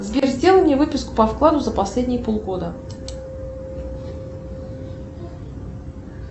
сбер сделай мне выписку по вкладу за последние полгода